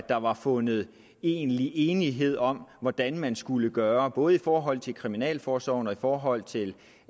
der var fundet egentlig enighed om hvordan man skulle gøre både i forhold til kriminalforsorgen og i forhold til